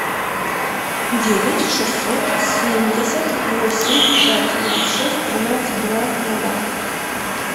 девять шестьсот семьдесят восемь пять ноль шесть тринадцать два ноля